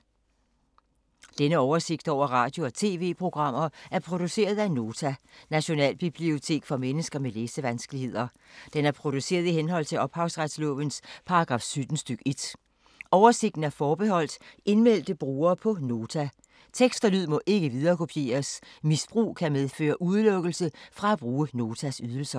Denne oversigt over radio og TV-programmer er produceret af Nota, Nationalbibliotek for mennesker med læsevanskeligheder. Den er produceret i henhold til ophavsretslovens paragraf 17 stk. 1. Oversigten er forbeholdt indmeldte brugere på Nota. Tekst og lyd må ikke viderekopieres. Misbrug kan medføre udelukkelse fra at bruge Notas ydelser.